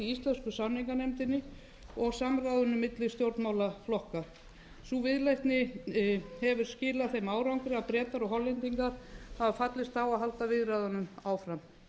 í íslensku samninganefndinni og samráðinu milli stjórnmálaflokka sú viðleitni hefur skilað þeim árangri að bretar og hollendingar hafa fallist á að halda viðræðunum áfram